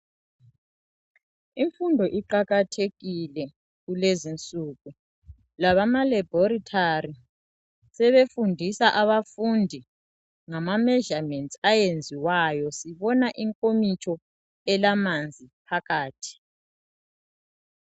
imfundo iqakathekile kulezinsuku labama laboratory sebefundisa abafundi ngama measurements ayenziwayo sibona inkomitsho elamanzi phakathi